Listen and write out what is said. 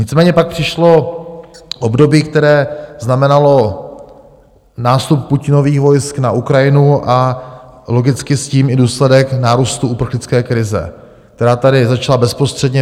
Nicméně pak přišlo období, které znamenalo nástup Putinových vojsk na Ukrajinu, a logicky s tím i důsledek nárůstu uprchlické krize, která tady začala bezprostředně.